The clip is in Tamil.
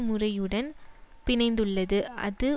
முறையுடன் பிணைந்துள்ளது அது